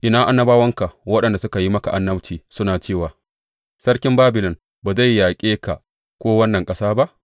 Ina annabawanka waɗanda suka yi maka annabci suna cewa, Sarkin Babilon ba zai yaƙe ka ko wannan ƙasa ba’?